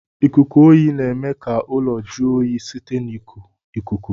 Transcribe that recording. lkuku oyi na eme ka ụlọ jụọ oyi site na iku ikuku.